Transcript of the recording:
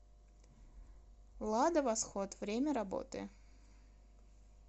лада восход время работы